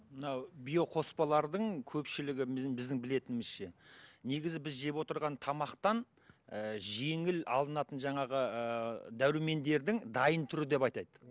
мынау биоқоспалардың көпшілігі біздің біздің білетінімізше негізі біз жеп отырған тамақтан ііі жеңіл алынатын жаңағы ыыы дәрумендердің дайын түрі деп атайды